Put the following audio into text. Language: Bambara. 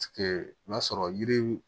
O y'a sɔrɔ yiri